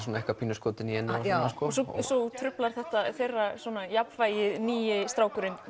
pínu skotinn í henni svo truflar þetta þeirra jafnvægi nýi strákurinn